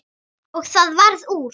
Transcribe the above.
Og það varð úr.